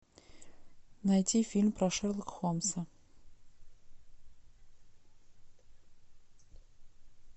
найти фильм про шерлока холмса